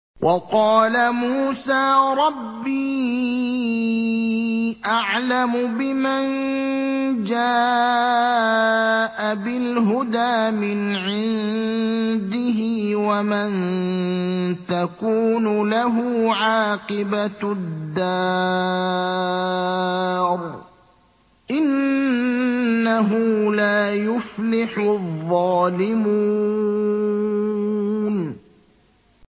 وَقَالَ مُوسَىٰ رَبِّي أَعْلَمُ بِمَن جَاءَ بِالْهُدَىٰ مِنْ عِندِهِ وَمَن تَكُونُ لَهُ عَاقِبَةُ الدَّارِ ۖ إِنَّهُ لَا يُفْلِحُ الظَّالِمُونَ